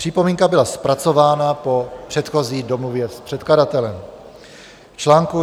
Připomínka byla zpracována po předchozí domluvě s předkladatelem článku.